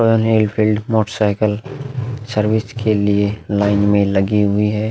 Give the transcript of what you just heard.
Royal Enfield motorcycle service के लिए line में लगी हुई है।